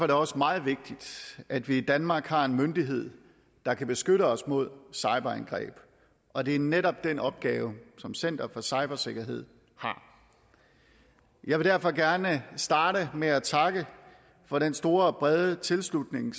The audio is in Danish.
det også meget vigtigt at vi i danmark har en myndighed der kan beskytte os mod cyberangreb og det er netop den opgave som center for cybersikkerhed har jeg vil derfor gerne starte med at takke for den store og brede tilslutning